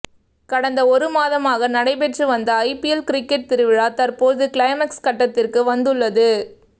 கடந்த ஒரு மாதமாக நடைபெற்று வந்த ஐபிஎல் கிரிக்கெட் திருவிழா தற்போது கிளைமாக்ஸ் கட்டத்திற்கு வந்துள்ளது